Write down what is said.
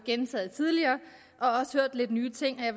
lidt nye ting og jeg